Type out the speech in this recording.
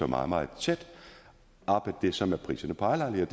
meget meget tæt op ad det som er priserne på ejerlejligheder